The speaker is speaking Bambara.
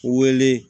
Wele